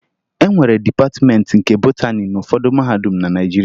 E nwere Dịpatịmeentị nke Botani n'ụfọdụ mahadum na Naịjirịa